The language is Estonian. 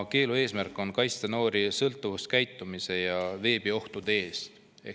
Keelu eesmärk on kaitsta noori sõltuvuskäitumise ja veebiohtude eest.